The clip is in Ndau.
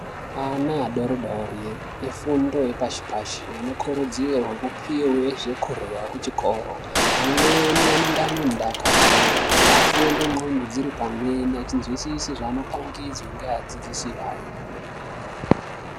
Ana adoridori efundo yepashi pashi ,anokurudzirwa kupuwa zvekurya kuchikoro .amweni anenge anemudakaro afunde nqondo dziripamweni achinzwisisa zvaanopangidzwa ngeadzidzisi ayo.